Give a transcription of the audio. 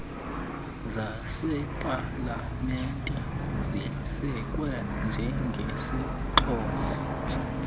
zasepalamente zisekwe njengezixhobo